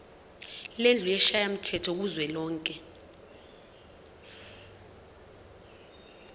lendlu yesishayamthetho kuzwelonke